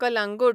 Calangute